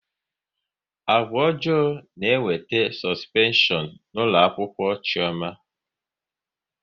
Agwa ọjọọ na-ewete sọspeshọn n'ụlọakwụkwọ Chiọma